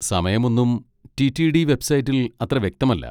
സമയം ഒന്നും T. T. D വെബ്സൈറ്റിൽ അത്ര വ്യക്തമല്ല.